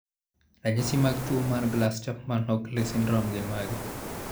Ranyisi mag tuwo mar Glass Chapman Hockley syndrome gin mage?